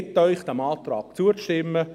» Ich bitte Sie, diesem Antrag zuzustimmen.